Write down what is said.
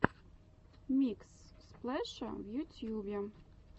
микс сплэша в ютьюбе